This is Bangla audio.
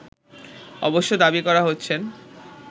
অবশ্য দাবি করা হচ্ছেন